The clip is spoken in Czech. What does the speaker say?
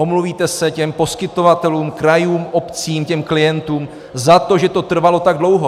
Omluvíte se těm poskytovatelům, krajům, obcím, těm klientům za to, že to trvalo tak dlouho.